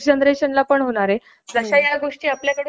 आणि ह्याच्या आता ज्या काही वेगवेगळे